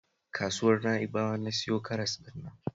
A kasuwar Na'ibawa na siyo karas ɗin nan